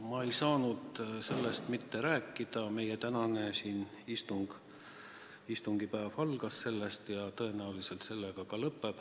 Ma ei saanud sellest mitte rääkida, meie tänane istungipäev algas sellest ja tõenäoliselt sellega ka lõpeb.